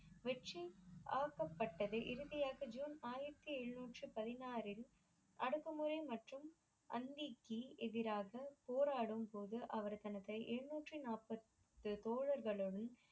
வெற்றி ஆக்கப்பட்டது இறுதியாக ஜூன் ஆயிரத்தி எழுனூற்றி பதினாறில் அடுக்கு முறை மற்றும் எதிராக போராடும் போது அவர் தனது எழுனூற்று நாற்ப்பது தோழர்களுடனும்